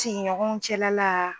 tigiɲɔgɔnw cɛla la.